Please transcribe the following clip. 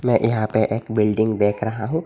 मैं यहां पे एक बिल्डिंग देख रहा हूं।